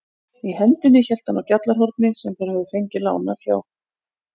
Í hendinni hélt hann á GJALLARHORNI sem þeir höfðu fengið lánað hjá